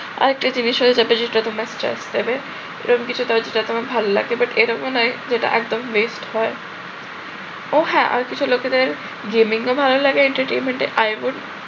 আরেকটা জিনিস হয় এ এরকম কিছু কাজ যেটা তোমার ভাল লাগে but এরকম একটা যেটা একদম waste হয়। ওহ হ্যাঁ আরো কিছু লোকেদের gaming ও ভাল লাগে entertainment এ i would